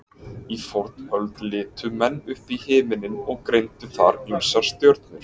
Í fornöld litu menn upp í himinninn og greindu þar ýmsar stjörnur.